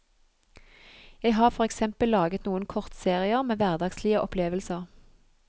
Jeg har for eksempel laget noen kortserier med hverdagslige opplevelser.